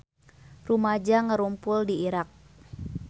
Rumaja ngarumpul di Irak